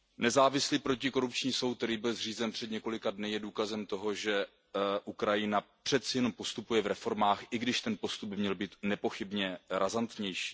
Nezávislý protikorupční soud, který byl zřízen před několika dny, je důkazem toho, že Ukrajina přeci jen postupuje v reformách, i když ten postup by měl být nepochybně razantnější.